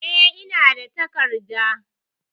E, ina da takarda.